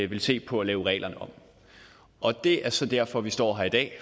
ville se på at lave reglerne om det er så derfor vi står her i dag